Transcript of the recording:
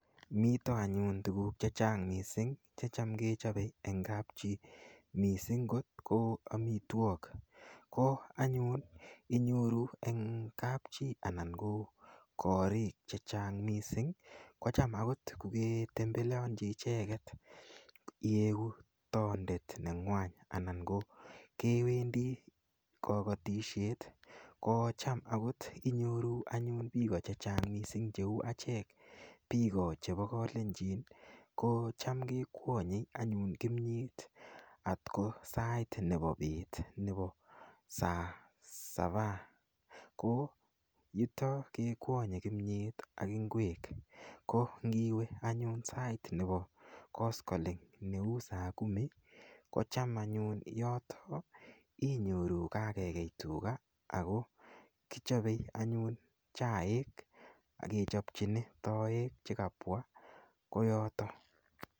Mito anyun tukuk chechang' mising' checham kechopei eng' kap chii mising' kot ko amitwok ko anyun inyoru eng' kap chii ana ko korik che chang' mising' kocham akot koke tembeleonchi icheket iyeku tondet neng'wany anan ko kewendi kokotishet kocham akot inyoru anyun piko chechang mising cheu achek piko chepo kalenjin ko cham kekwonyei anyun kimyet atko sait nepo bet nepo saa sabaa ko yuto ke kwonyei kimyet ak ing'wek ko ngiwe anyun sait nepo koskoling' neu saa kumi kocham anyun yoto inyoru kakekey tuka ako kichopei anyun chaik akechopchini toek chekapwa koyoto